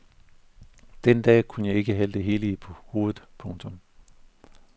Den dag kunne jeg ikke have det hele i hovedet. punktum